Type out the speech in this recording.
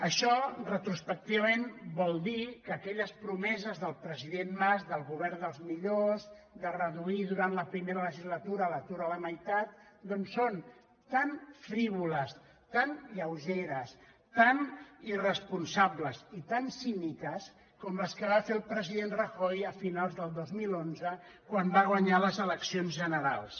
això retrospectivament vol dir que aquelles pro·meses del president mas del govern dels millors de reduir durant la primera legislatura l’atur a la meitat doncs són tan frívoles tan lleugeres tan irresponsa·bles i tan cíniques com les que va fer el president rajoy a finals del dos mil onze quan va guanyar les eleccions gene·rals